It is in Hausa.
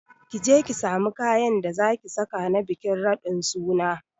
Kije ki samu kayan da zaki saka na bikin raɗin suna